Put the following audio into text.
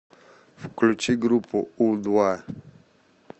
включи группу у два